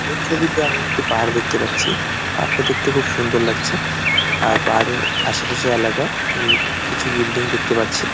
এই ছবিতে আমি একটি পাহাড় দেখতে পাচ্ছি পাহাড়টি দেখতে খুব সুন্দর লাগছে আর পাহাড়ের আশে। পাশে এলাকায় আমি কিছু বিল্ডিং দেখতে পাচ্ছি।